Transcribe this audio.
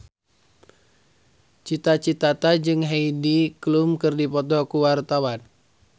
Cita Citata jeung Heidi Klum keur dipoto ku wartawan